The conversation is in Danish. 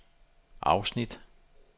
afsnit